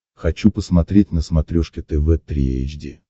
хочу посмотреть на смотрешке тв три эйч ди